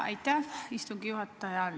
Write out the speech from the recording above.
Aitäh, istungi juhataja!